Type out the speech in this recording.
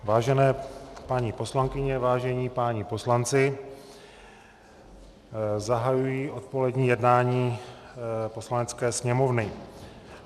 Vážené paní poslankyně, vážení páni poslanci, zahajuji odpolední jednání Poslanecké sněmovny.